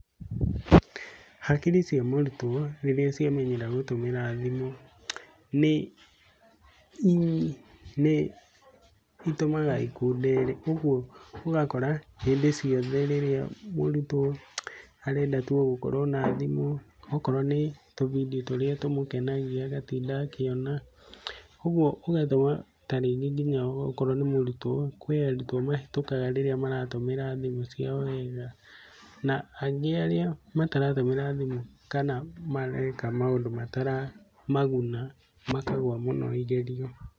Hakiri cia mũrutwo rĩrĩa ciamenyera gũtũmĩra thimũ, nĩ itũmaga ikundere. Ũguo ũgakora hĩndĩ ciothe rĩrĩa mũrutwo arenda tu ogũkorwo na thimũ, okorwo nĩ tubindiũ tũrĩa tũmũkenagia, agatinda akiona. Ũguo ũgakora tarĩngĩ nginya okorwo ni mũrutwo, kwĩ arutwo mahĩtũkaga rĩrĩa mara tũmira thimũ ciao wega. Na aingĩ arĩa mataratũmĩra thimũ kana mareka maũndu mataramaguna, makagwa mũno igerio.